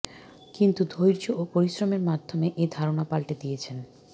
কিন্তু ধৈর্য ও পরিশ্রমের মাধ্যমে এ ধারণা পাল্টে দিয়েছেন